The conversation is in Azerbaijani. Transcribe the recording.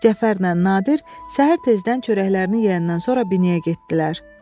Cəfərlə Nadir səhər tezdən çörəklərini yeyəndən sonra Binəyə getdilər.